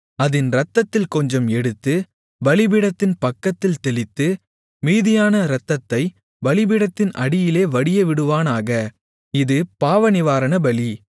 அதின் இரத்தத்தில் கொஞ்சம் எடுத்து பலிபீடத்தின் பக்கத்தில் தெளித்து மீதியான இரத்தத்தைப் பலிபீடத்தின் அடியிலே வடியவிடுவானாக இது பாவநிவாரணபலி